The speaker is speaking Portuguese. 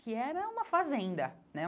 que era uma fazenda, né?